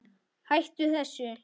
HÆTTU ÞESSU!